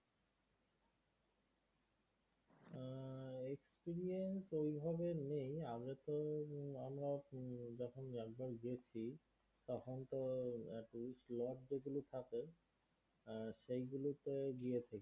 experience ওই ভাবে নেই আগে তো হম আমরা যখন একবার গেছি তখন তো slot যেগুলো থাকে হম সেগুলোতে গিয়ে